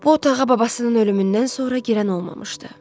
Bu otağa babasının ölümündən sonra girən olmamışdı.